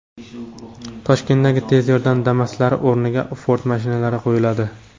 Toshkentdagi tez yordam Damas’lari o‘rniga Ford mashinalari qo‘yiladi.